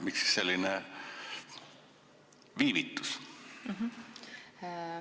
Millest selline viivitus?